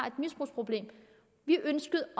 et misbrugsproblem vi ønskede